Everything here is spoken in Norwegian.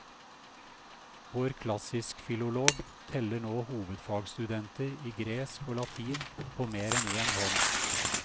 Vår klassiskfilolog teller nå hovedfagsstudenter i gresk og latin på mer enn én hånd.